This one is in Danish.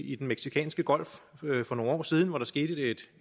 i den mexicanske golf for nogle år siden hvor der skete et